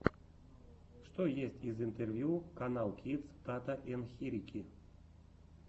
что есть из интервью каналкидс тата ен хирики